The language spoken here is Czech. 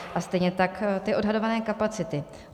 A stejně tak ty odhadované kapacity.